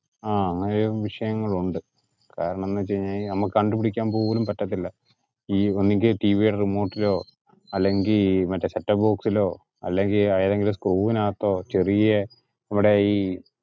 ആ അങ്ങിനെ ഒരു വിഷയങ്ങൾ ഉണ്ട് കാരണം എന്തെന്ന് വെച്ച് കഴിഞ്ഞാ നമുക്ക് കണ്ടുപിടിക്കാൻ പോലും പറ്റത്തില്ല. ഒന്നുങ്കിൽ TV യുടെ remote ഇലോ, അല്ലെങ്കിൽ മറ്റേ set off box ഇലോ അല്ലെങ്കിൽ ഏതെങ്കിലും screw ഇന്കത്തോ ചെറിയ ഇവിടെ ഈ